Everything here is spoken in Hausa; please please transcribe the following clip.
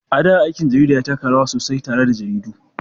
A da, aikin jarida ya taka rawa sosai tare da jaridu.